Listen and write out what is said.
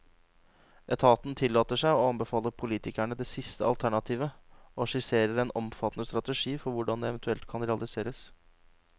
Etaten tillater seg å anbefale politikerne det siste alternativet, og skisserer en omfattende strategi for hvordan det eventuelt kan realiseres.